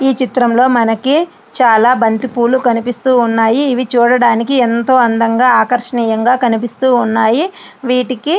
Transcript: ఈ చిత్రంలో మనకి చాలా బంతిపూలు కనిపిస్తూ ఉన్నాయి ఇవి చూడడానికి ఎంతో అందంగా ఆకర్షణీయంగా కనిపిస్తు ఉన్నాయి వీటికి.